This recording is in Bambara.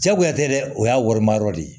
Jagoya tɛ dɛ o y'a warima yɔrɔ de ye